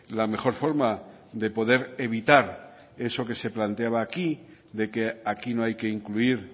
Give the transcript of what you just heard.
la mejor forma de poder evitar eso que se planteaba aquí de que aquí no hay que incluir